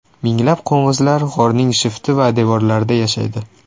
Minglab qo‘ng‘izlar g‘orning shifti va devorlarida yashaydi.